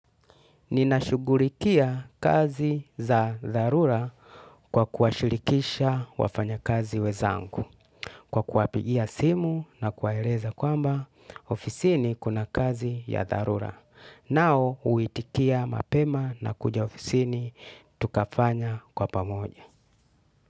Ninashugulikia kazi za dharura kwa kuwashirikisha wafanyikazi wenzangu kwa kuwapigia simu na kuwaeleza kwamba ofisini kuna kazi za dharura. Nao huitikia mapema na kuja ofisini tukafanya pamoja.